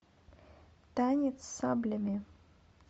танец с саблями